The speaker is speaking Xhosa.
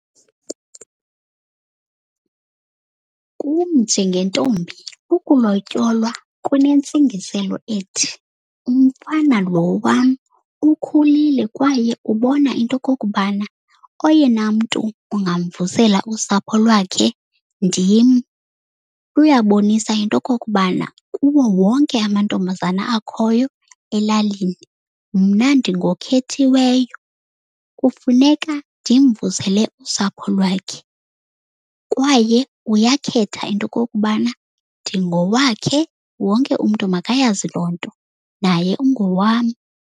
Kum njengentombi ukulotyolwa kunentsingiselo ethi umfana lo wam ukhulile kwaye ubona into yokokubana oyena mntu ungamvusela usapho lwakhe ndim. Uyabonisa into yokokubana kuwo wonke amantombazana akhoyo elalini mna ndingokhethiweyo. Kufuneka ndimvusele usapho lwakhe kwaye uyakhetha into yokokubana ndingowakhe, wonke umntu makayazi loo nto. Naye ungowam.